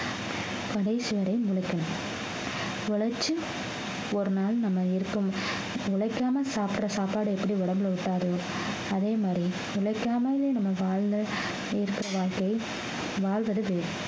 கடைசி வரை உழைக்கணும் உழைச்சு ஒரு நாள் நம்ம இருக்க உழைக்காம சாப்பிடுற சாப்பாடு எப்படி உடம்புல ஒட்டாது அதே மாறி உழைக்காமலே நம்ம வாழ்ந்த இருக்கிற வாழ்க்கை வாழ்வது வேறு